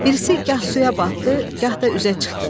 Birisi gah suya batdı, gah da üzə çıxdı.